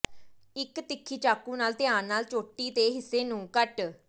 ਇੱਕ ਤਿੱਖੀ ਚਾਕੂ ਨਾਲ ਧਿਆਨ ਨਾਲ ਚੋਟੀ ਦੇ ਹਿੱਸੇ ਨੂੰ ਕੱਟ